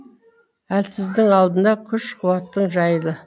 әлсіздің алдында күш қуатың жайлы